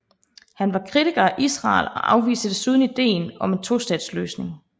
Han var kritiker af Israel og afviste desuden idéen om en tostatsløsning